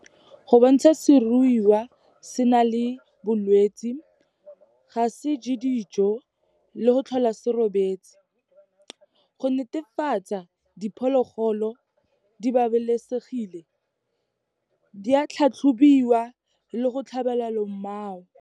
Go bontsha seruiwa se na le bolwetsi, ga se je dijo le go tlhola se robetse. Go netefatsa diphologolo di babalesegile, di a tlhatlhobiwa le go tlhabela lomao.